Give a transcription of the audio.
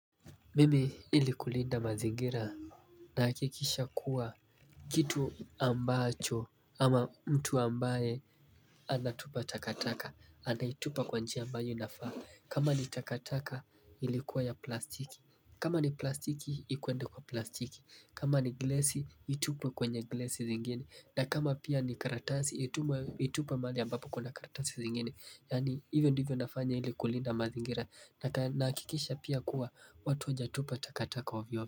Mimi ili kulinda mazingira nahakikisha kuwa kitu ambacho ama mtu ambaye anatupa takataka anaitupa kwa njia ambayo inafaa. Kama ni takataka ilikuwa ya plastiki kama ni plastiki ikwende kwa plastiki. Kama ni glasi itupwe kwenye glasi zingine. Na kama pia ni karatasi itupwe mahali ambapo kuna karatasi zingine. Yaani hivyo ndivyo nafanya ili kulinda mazingira Nahakikisha pia kuwa watu hawajatupa takataka ovyo ovyo.